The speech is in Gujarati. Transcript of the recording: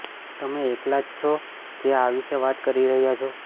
તમે એકલા જ છો જે આ વિશે વાત કરી રહ્યા છો